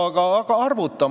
Aga arvuta!